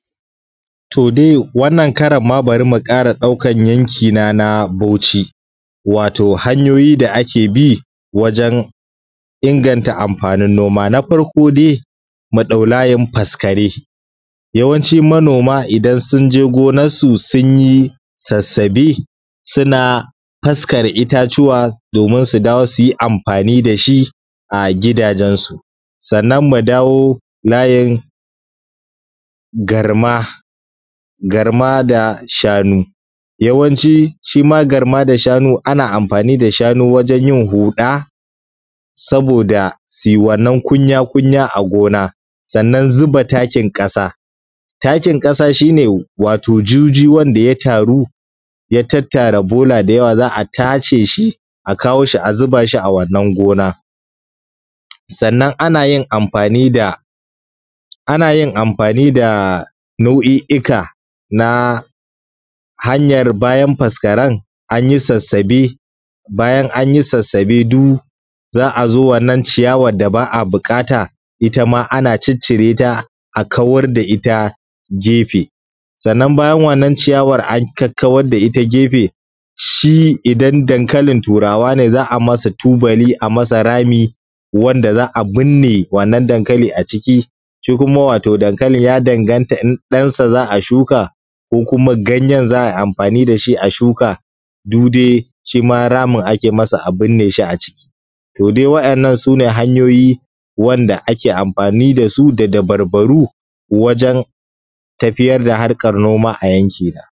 To dai wannan karan ma bari mu ƙara ɗaukan yanki na na bauchi, wato hanyoyi da a ke bi wajen inganta amfanin noma. Na farko dai, mu ɗau layin faskare, yawancin manoma idan sun je gonar su sun yi sassabe suna faskara ittatuwa domin su dawo su yi amfani da shi a gidajen su. Sannan mu dawo layi garma, garma da shanu, yawanci shima garma da shanu ana amfani da shanu wajen yin huɗa saboda su yi wannan kunya-kunya a gona. Sannan zuba takin ƙasa, taki ƙasa shine wato juji wanda ya taru ya tattara bola da yawa za a tace shi a kawo shi a zuba shi a wannan gona. Sannan ana yin amfani da, ana yin amfani da naui’ika na hanyar bayan faskaren an yi sassabe, bayan an yi sassabe du za a zo wannan ciyawan da ba a buƙata ita ma ana ciccireta a kawar da ita gefe. Sannan bayan wannan ciyawan an kakkawar da ita gefe, shi idan dankalin turawa ne za a masa tubali a masa rami wanda za a binne wannan dankali a ciki, shi kuma wato dankali ya danganta in ɗansa za a shuka ko kuma ganyen za a yi amfani da shi a shuka du dai shima ramin ake masa a binne shi a ciki, to dai wa’ennan sune hanyoyi wanda ake amfani da su da dabarbaru wajen tafiyar da harkan noma a yanki na.